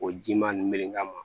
O ji ma ninnu kama